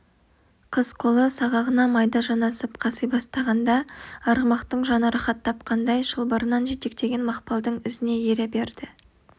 қыз қолы сағағына майда жанасып қаси бастағанда арғымақтың жаны рахат тапқандай шылбырынан жетектеген мақпалдың ізіне ере берді